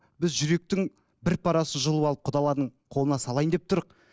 біз жүректің бір парасын жұлып алып құдалардың қолына салайын деп